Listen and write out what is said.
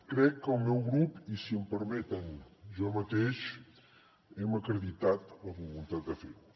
crec que el meu grup i si m’ho permeten jo mateix hem acreditat la voluntat de fer ho